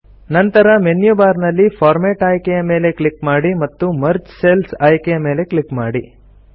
ನಂತರ menu bar ನಲ್ಲಿ format ಆಯ್ಕೆಯ ಮೇಲೆ ಕ್ಲಿಕ್ ಮಾಡಿ ಮತ್ತು ಮರ್ಜ್ ಸೆಲ್ಸ್ ಆಯ್ಕೆಯ ಮೇಲೆ ಕ್ಲಿಕ್ ಮಾಡಿ